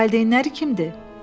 Valideynləri kimdir?